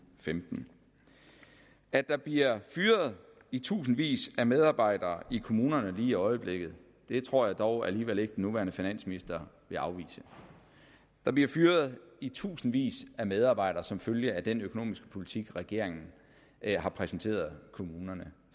femtende at der bliver fyret i tusindvis af medarbejdere i kommunerne lige i øjeblikket tror jeg dog alligevel ikke at den nuværende finansminister vil afvise der bliver fyret i tusindvis af medarbejdere som følge af den økonomiske politik regeringen har præsenteret kommunerne